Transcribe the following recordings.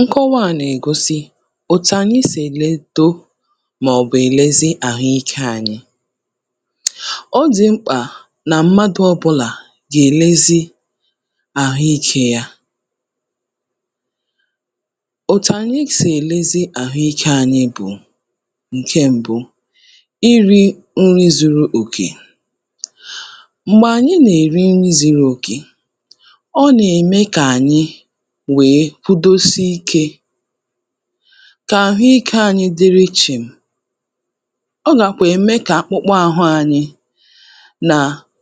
Nkọwa à nègosi ètù ànyị sị̀ èledo mọ̀bụ̀ èlezi àhụikē anyị. Ọ dị̀ mkpà nà mmadụ̄ ọ̀bụlà gèlezi àhụikē yā. Òtù anyị sì èlezi àhụikē anyị bụ ǹke mbụ irī nri zuru òkè, m̀gbè ànyị nèri nri zuru òkè nème kà ànyị wèe kwudosi ikē, kà àhụikē anyị dịrị chị̀m, ọ nàkwà ème kà akpụkpa àhụ ànyị mà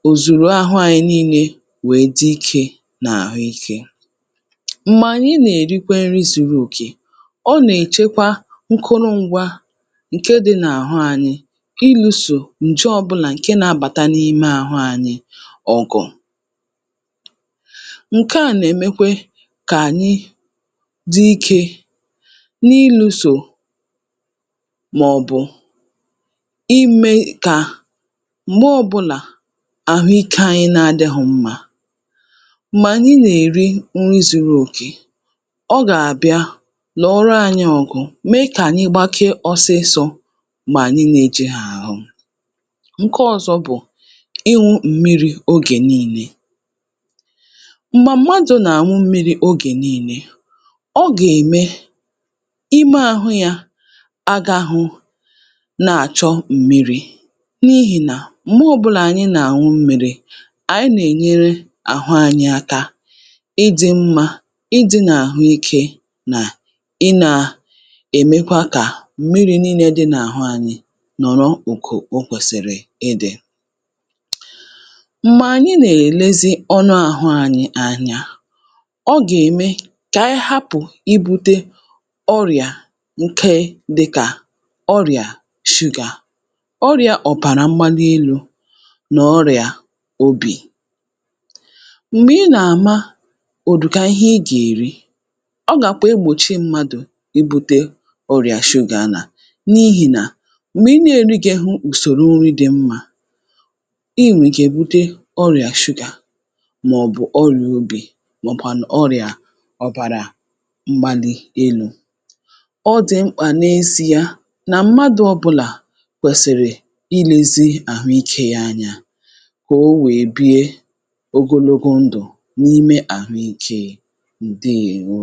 ò zuru ahụ yā niilē wèe dị ikē n’àhụikē M̀gbè ànyị nèrikwe nri zuru oke, ọ nèchekwa nkụrụǹgwa ǹke dị n’àhụ anyị ilūsō ǹje ọ̀bụlà nabàta n’ime àhụ anyị ọ̀gụ̀ ǹke à nèmekwe kà ànyị dị ikē n’ilūsò mọ̀bụ̀ imē kà m̀gbe ọbụlà àhụikē anyị adịghə̄ mmā mànyị nèri nri zuru òkè ọ gàbịa lụ̀ọ̀rọ anyị̄ ọgụ mee kà ànyị gbakee ọsịsọ̄ m̀gbè ànyị nējighì àhụ. Ǹkọzọ̄ bụ̀ ịṅụ̄ m̀mirī ogè niilē, m̀gbà mmadù nàṅụ mmirī ogè niilē ọ gème ime àhụ yā agāghū na-àchọ m̀mirī n’ihìnà m̀gbọ ọ̀bụlà ànyị nàṅụ mmīrī ànyị nènyere àhụ anyị aka ịdị̄ mmā, ịdị̄ n’àhụikē nà ị nā -èmekwa kà mmiri niilē dị n’àhụ anyị̄ nọ̀rọ òkò o kwèsìrì idī. M̀gbànyị nèlezi anụ ahụ anyị anya, ọ gème kà ànyị hapụ̀ ibūtē ọrịà ǹke dịkà ọrịà shugà, ọrịā ọ̀bàrà mgbalị elū nọ̀ ọrịà obì, m̀gbè ị nàma ụ̀dụ̀ka ihe ị gèri ọ gàkwa egbòchi mmādụ̀ ibūtē ọrịà shugà nà n’ihìnà m̀gbè ị gērigēnwu ụ̀sòrò nri dị mmā ị nwèrè ike bute orịà shụgà mọ̀bụ̀ ọrịà obì mọ̀ọ̀kwànụ̀ ọrịà ọ̀bàrà mgbalị elū ọ dị̀ mkpà n’eziē nà mmadụ̄ ọbụlà kwèsìrì ilēzī àhụikē ya anya kò onwè e bie ogologo ndù ǹke àhụikē. Ǹdeèwo.